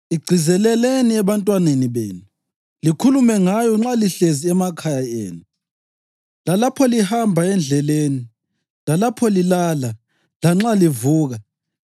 Igcizeleleni ebantwaneni benu. Likhulume ngayo nxa lihlezi emakhaya enu lalapho lihamba endleleni, lapho lilala lanxa livuka.